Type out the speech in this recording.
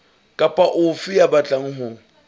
kapa ofe ya batlang ho